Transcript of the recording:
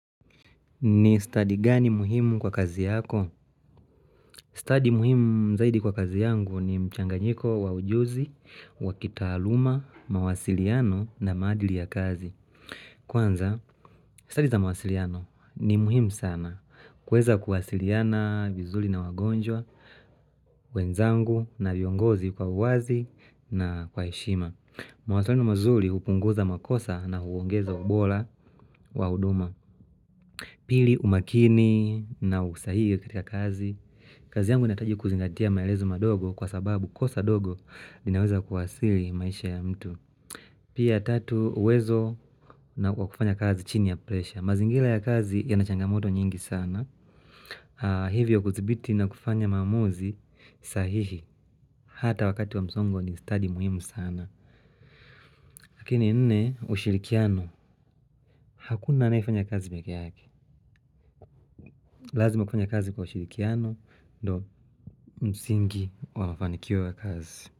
Ni study gani muhimu kwa kazi yako? Study muhimu zaidi kwa kazi yangu ni mchanganyiko wa ujuzi, wa kitaaluma, mawasiliano na maadili ya kazi. Kwanza, study za mawasiliano ni muhimu sana. Kuweza kuwasiliana vizuri na wagonjwa, wenzangu na viongozi kwa uwazi na kwa heshima. Mawasiliano mazuri hupunguza makosa na huongeza ubora wa huduma. Pili umakini na usahihi katika kazi, kazi yangu nahitaji kuzingatia maelezo madogo kwa sababu kosa dogo linaweza kuhasili maisha ya mtu. Pia tatu uwezo na kufanya kazi chini ya presha. Mazingira ya kazi yanachangamoto nyingi sana. Hivyo kudhibiti na kufanya maamuzi sahihi. Hata wakati wa msongo ni study muhimu sana. Lakini nne ushirikiano. Hakuna anayefanya kazi pekee yake. Lazima kufanya kazi kwa ushirikiano. Ndo msingi wa mafanikio kazi.